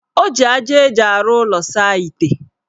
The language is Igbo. O ji aja eji arụ ụlọ saa ite.